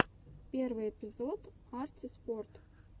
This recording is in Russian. первый эпизод арти спорт